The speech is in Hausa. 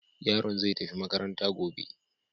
Yaron zai tafi makaranta gobe.